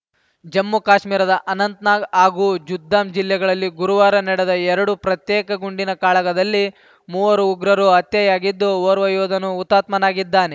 ಜಮ್ಮು ಕಾಶ್ಮೀರದ ಅನಂತ್‌ನಾಗ್‌ ಹಾಗೂ ಜುದ್ದಾಮ್ ಜಿಲ್ಲೆಗಳಲ್ಲಿ ಗುರುವಾರ ನಡೆದ ಎರಡು ಪ್ರತ್ಯೇಕ ಗುಂಡಿನ ಕಾಳಗದಲ್ಲಿ ಮೂವರು ಉಗ್ರರು ಹತ್ಯೆಯಾಗಿದ್ದು ಓರ್ವ ಯೋಧನು ಹುತಾತ್ಮನಾಗಿದ್ದಾನೆ